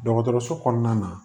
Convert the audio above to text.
Dɔgɔtɔrɔso kɔnɔna na